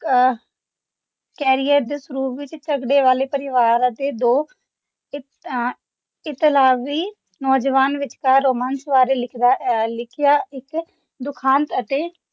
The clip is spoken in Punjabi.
ਅਹ ਕੈਰੀਅਰ ਦੇ ਸ਼ੁਰੂ ਵਿੱਚ ਝਗੜੇ ਵਾਲੇ ਪਰਿਵਾਰ ਅਤੇ ਦੋ ਇਤ ਅਹ ਇਤਾਲਵੀ ਨੌਜਵਾਨ ਵਿਚਕਾਰ ਰੋਮਾਂਸ ਬਾਰੇ ਲਿਖਦਾ ਅਹ ਲਿਖਿਆ ਇੱਕ ਦੁਖਾਂਤ ਅਤੇ